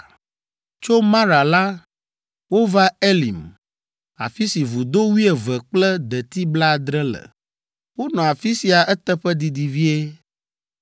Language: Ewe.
Tso Mara la, wova Elim, afi si vudo wuieve kple deti blaadre le. Wonɔ afi sia eteƒe didi vie.